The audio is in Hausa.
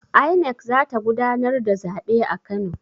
INEC za ta gudanar da zabe a Kano.